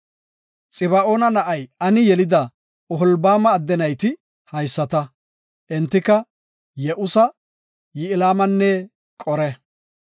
Xiba7oona na7ay Ani yelida Oholbaama adde nayti haysata; Entika Ye7usa, Ya7ilamanne Qore.